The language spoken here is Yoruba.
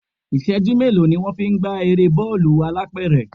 Ìṣẹ́jú mélòó ni wón fi ń gbá eré bọ́ọ̀lù alápẹ̀rẹ̀?